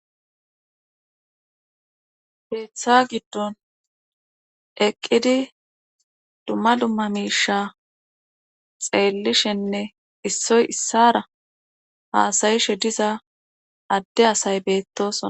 peeththa giddon eqqidi dumma dumma miisha xeellishenne issoy issara haasayishe diza adde asay beettosona